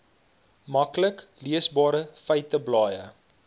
maklik leesbare feiteblaaie